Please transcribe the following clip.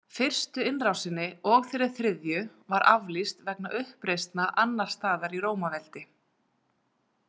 Fyrstu innrásinni og þeirri þriðju var aflýst vegna uppreisna annars staðar í Rómaveldi.